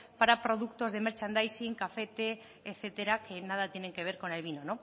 para productos de merchandising café té etcétera que nada tienen que ver con el vino